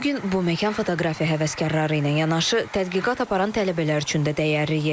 Bu gün bu məkan fotoqrafiya həvəskarları ilə yanaşı tədqiqat aparan tələbələr üçün də dəyərli yerdir.